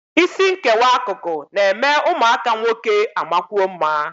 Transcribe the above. Isi nkewa akụkụ na-eme ụmụaka nwoke amakwuo mma